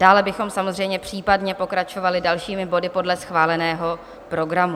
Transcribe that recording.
Dále bychom samozřejmě případně pokračovali dalšími body podle schváleného programu.